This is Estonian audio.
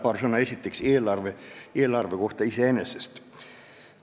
Tahan esiteks öelda paar sõna eelarve kohta iseenesest.